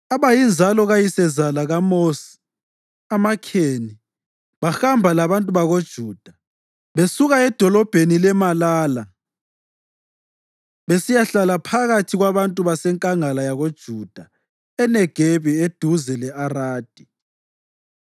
Abayinzalo kayisezala kaMosi, amaKheni, bahamba labantu bakoJuda besuka edolobheni laMalala besiyahlala phakathi kwabantu basenkangala yakoJuda eNegebi eduze le-Aradi.